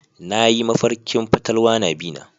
Nayi mafarkin fatalwa na bi na.